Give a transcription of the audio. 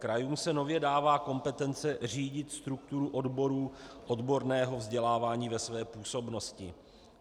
Krajům se nově dává kompetence řídit strukturu oborů odborného vzdělávání ve své působnosti.